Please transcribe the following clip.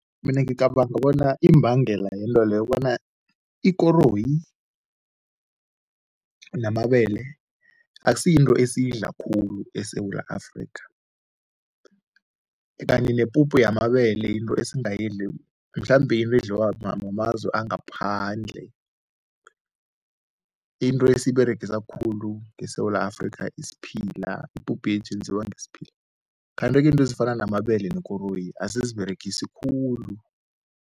Mina ngicabanga bona imbangela yento leyo bona ikoroyi namabele akusiyinto esiyidla khulu eSewula Afrika kanti nepupu yamabele yinto esingayidli mhlambe yinto edliwa mamazwe angaphandle. Into esiyiberegisa khulu ngeSewula Afrika isiphila, ipuphu yethu yenziwa ngesphila kanti-ke into ezifana namabele nekoroyi asiziberegisi khulu.